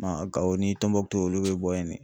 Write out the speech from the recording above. Gawɔ ni Tɔnbɔkutu olu bɛ bɔ yen.